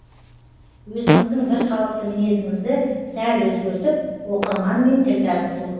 өзіңіздің бірқалыпты мінезіңізді сәл өзгертіп оқырманмен тіл табысу